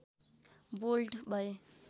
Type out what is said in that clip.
bold भए